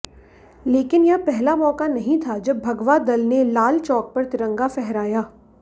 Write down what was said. लेकिन यह पहला मौका नहीं था जब भगवा दल ने लाल चौक पर तिरंगा फहराया